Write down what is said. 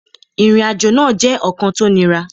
Ìrìnàjò náà jẹ́ ọ̀kan tó niran